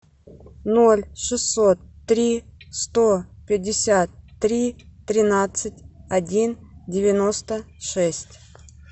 ноль шестьсот три сто пятьдесят три тринадцать один девяносто шесть